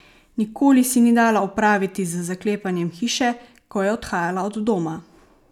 Nikoli si ni dala opraviti z zaklepanjem hiše, ko je odhajala od doma.